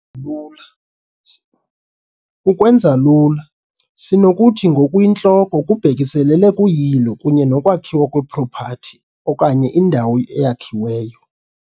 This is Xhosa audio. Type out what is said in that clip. lula Ukwenza lula, sinokuthi ngokuyintloko kubhekiselele kuyilo kunye nokwakhiwa kwepropati okanye indawo eyakhiweyo .